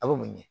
A bɛ mun ɲɛ